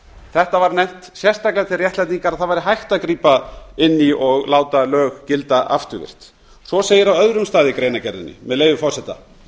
þetta var nefnt sérstaklega til réttlætingar á því að það væri hægt að grípa inn í og láta lög gilda afturvirkt svo segir á öðrum stað í greinargerðinni með leyfi forseta